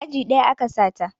Aji ɗaya a ka sa ta